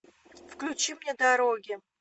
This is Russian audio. включи мне дороги